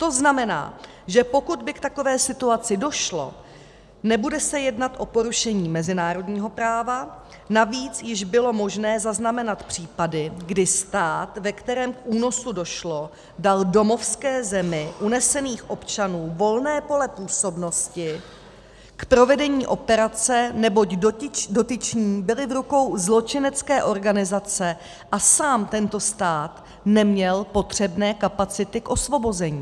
To znamená, že pokud by k takové situaci došlo, nebude se jednat o porušení mezinárodního práva, navíc již bylo možné zaznamenat případy, kdy stát, ve kterém k únosu došlo, dal domovské zemi unesených občanů volné pole působnosti k provedení operace, neboť dotyční byli v rukou zločinecké organizace a sám tento stát neměl potřebné kapacity k osvobození.